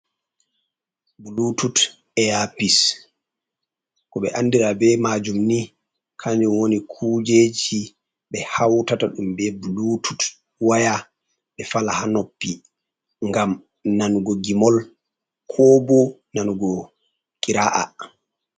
Ɓulutut airpis koɓe andira be majum ni kanjum woni kujeji ɓe hautata ɗum be blutut waya ɓe fala ha noppi ngam nanugo gimol kobo nanugo kira’a.